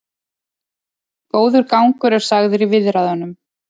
Góður gangur er sagður í viðræðunum